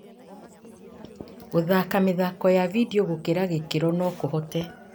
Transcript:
Gũthaka mĩthako ya vindio gũkĩra gĩkĩro no kũhote